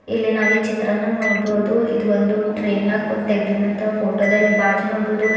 ಇಲ್ಲಿ ನಾವ ಈ ಚಿತ್ರಾನ್ನಗ ನೋಡ್ಬೋದು ಇದು ಒಂದು ಟ್ರೈ ನ್ನ್ಯಾಗ ಕುಂತ ತೆಗಿದಿಂದ್ ಅಂತ ಫೋಟೋ ಅಲ್ಲಿ ಬಾಜು ನೋಡ್ಬೋದು --